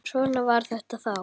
En svona var þetta þá.